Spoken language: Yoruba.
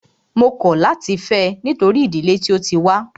Mó kọ̀ láti fẹ́ ẹ nítorí ìdílé tí o tí wá.